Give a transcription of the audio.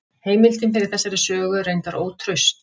Heimildin fyrir þessari sögu er reyndar ótraust.